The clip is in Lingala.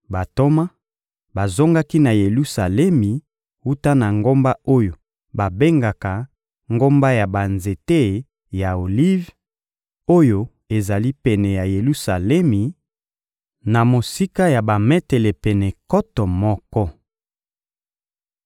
Bantoma bazongaki na Yelusalemi wuta na ngomba oyo babengaka Ngomba ya banzete ya Olive, oyo ezali pene ya Yelusalemi, na mosika ya bametele pene nkoto moko.